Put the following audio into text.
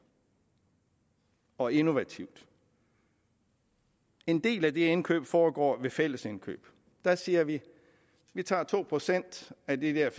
og innovativt en del af de indkøb foregår fællesindkøb der siger vi at vi tager to procent af de der